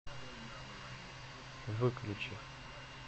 выключи